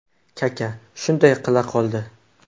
Kaka shunday qila qoldi.